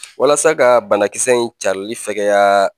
Walasa ka banakisɛ in carili fɛgɛya